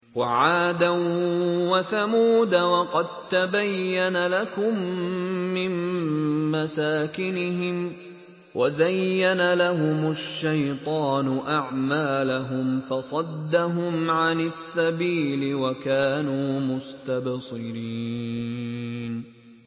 وَعَادًا وَثَمُودَ وَقَد تَّبَيَّنَ لَكُم مِّن مَّسَاكِنِهِمْ ۖ وَزَيَّنَ لَهُمُ الشَّيْطَانُ أَعْمَالَهُمْ فَصَدَّهُمْ عَنِ السَّبِيلِ وَكَانُوا مُسْتَبْصِرِينَ